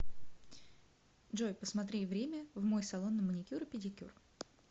джой посмотри время в мой салон на маникюр и педикюр